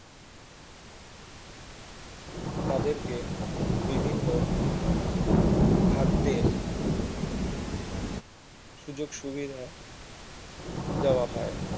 তাদেরকে বিভিন্ন খাদ্যের সুযোগ সুবিধা দেওয়া হয়